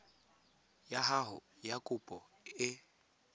ya gago ya kopo e